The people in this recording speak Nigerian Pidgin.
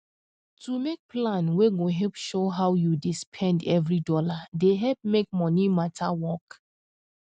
to make plan wey go help show how you dey spend every dollar dey help make money matter work